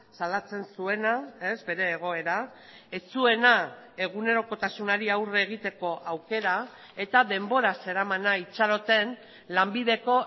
salatzen zuena bere egoera ez zuena egunerokotasunari aurre egiteko aukera eta denbora zeramana itxaroten lanbideko